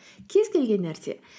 кез келген нәрсе